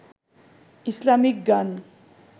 Islamic গান